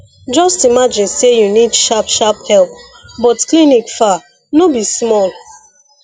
just imagine say you need sharp sharp help but clinic far no be small